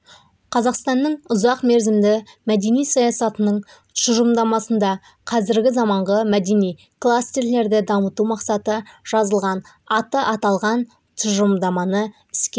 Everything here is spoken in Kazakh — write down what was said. қазақсанның ұзақмерзімді мәдени саясатының тұжырымдамасында қазіргі заманғы мәдени кластерлерді дамыту мақсаты жазылған аты аталған тұжырымдаманы іске